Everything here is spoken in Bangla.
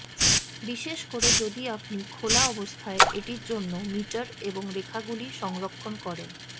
বিশেষ করে যদি আপনি খোলা অবস্থায় এটির জন্য মিটার এবং রেখাগুলি সংরক্ষণ করেন